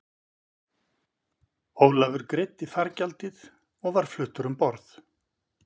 Ólafur greiddi fargjaldið og var fluttur um borð.